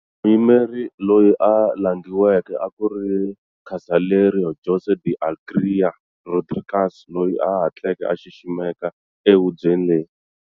Muyimeri loyi a langiweke a ku ri Casaleiro Jose de Alegria Rodrigues, loyi a hatleke a xiximeka e hubyeni leyi.